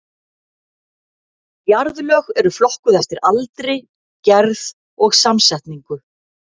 Jarðlög eru flokkuð eftir aldri, gerð og samsetningu.